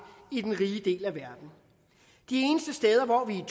i den rige del af verden de eneste steder hvor vi er